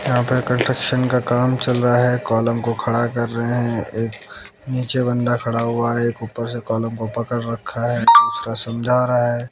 यहां पे कंस्ट्रक्शन का काम चल रहा है कॉलम को खड़ा कर रहे हैं एक नीचे बंदा खड़ा हुआ है एक ऊपर से कॉलम को पकड़ रखा है दूसरा समझा रहा है।